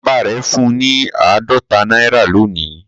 Bàbá rẹ̀ fún un ní àádọ́ta náírà lónìí